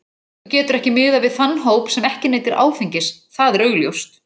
Þú getur ekki miðað við þann hóp sem ekki neytir áfengis, það er augljóst.